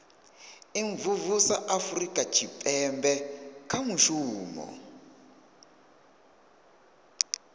imvumvusa afurika tshipembe kha mushumo